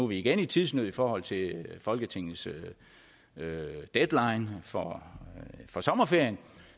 vi igen i tidsnød i forhold til folketingets deadline for for sommerferien